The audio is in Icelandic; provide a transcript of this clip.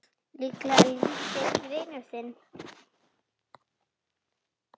Líklega lítill vinur þinn!